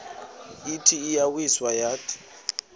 ithi iyawisa yathi